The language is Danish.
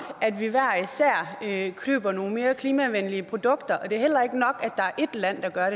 at køber nogle mere klimavenlige produkter og det er heller ikke nok at der er ét land der gør